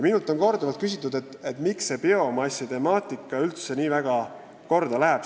Minult on korduvalt küsitud, miks see biomassi temaatika üldse nii väga korda läheb.